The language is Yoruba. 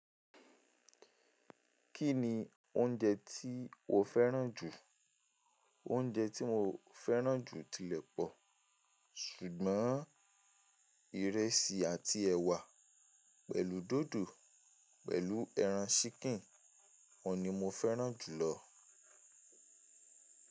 Kí ni oúnjẹ tí o fẹ́ràn jù? Oúnjẹ tí mo fẹ́ràn jù tilẹ̀ pọ̀, ṣùgbọ́n ìrẹsì àt ẹ̀wà pẹ̀lú dòdò pẹ̀lú ẹran ṣíìkìn ni mo fẹ́ràn jùlọ.